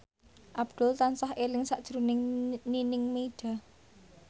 Abdul tansah eling sakjroning Nining Meida